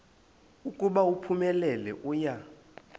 ukuba uphumelele uya